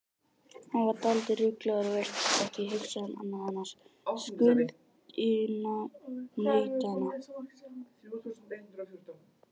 Hann var dálítið ruglaður og virtist ekki hugsa um annað en skuldunautana.